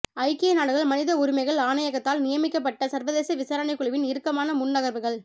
ஐக்கிய நாடுகள் மனித உரிமைகள் ஆணையகத்தால் நியமிக்கப்பட்ட சர்வதேச விசாரணைக்குழுவின் இறுக்கமான முன்நகர்வுகள்